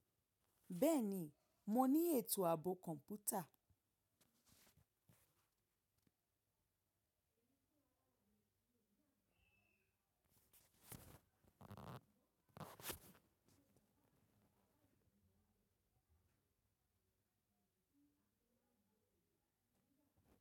Bẹ́ẹ̀ni, mo ní ètò ààbò kọ̀ǹpútà.